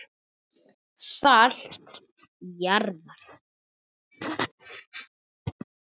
Salt jarðar.